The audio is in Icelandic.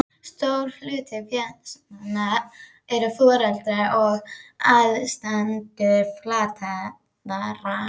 Stór hluti félagsmanna eru foreldrar og aðstandendur fatlaðra.